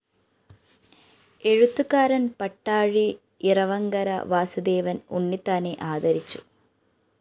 എഴുത്തുകാരന്‍ പട്ടാഴി ഇറവങ്കര വാസുദേവന്‍ ഉണ്ണിത്താനെ ആദരിച്ചു